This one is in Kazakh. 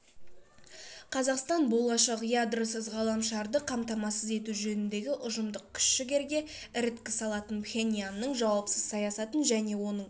қазақстан болашақ ядросыз ғаламшарды қамтамасыз ету жөніндегі ұжымдық күш-жігерге іріткі салатын пхеньянның жауапсыз саясатын және оның